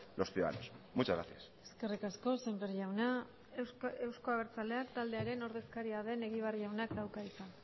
los ciudadanos muchas gracias eskerrik asko sémper jauna euzko abertzaleak taldearen ordezkaria den egibar jaunak dauka hitza